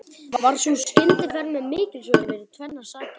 Varð sú skyndiferð mér mikilsverð fyrir tvennar sakir.